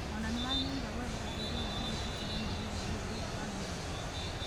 Ona nĩ wangĩrĩire gwetha ũteithio wa ũrigiti koro nĩũraigua ruo thutha wa gũrario.